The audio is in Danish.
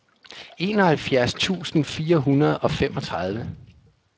enoghalvfjerds tusind fire hundrede og femogtredive